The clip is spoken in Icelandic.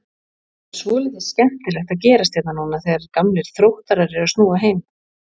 Það er svolítið skemmtilegt að gerast hérna núna þegar gamlir Þróttarar eru að snúa heim?